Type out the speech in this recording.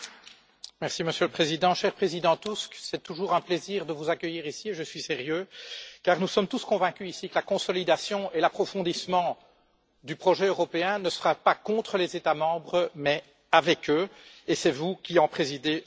Monsieur le Président, cher Président Tusk, c'est toujours un plaisir de vous accueillir, et je suis sérieux, car nous sommes tous convaincus, ici, que la consolidation et l'approfondissement du projet européen ne se feront pas contre les États membres mais avec eux, et c'est vous qui en présidez le Conseil.